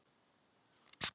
Það var nánast óþekkt þá.